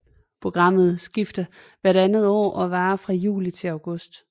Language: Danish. Programmet skifter hvert andet år og varer fra juli til august